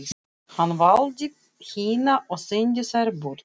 Hann valdi hina og sendi þær burt.